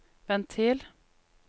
ventil